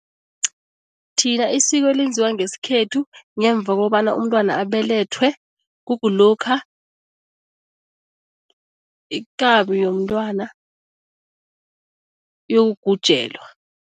Thina isiko elinziwa ngesikhethu ngemva kobana umntwana abelethwe kukulokha ikabi yomntwana iyokugujelwa.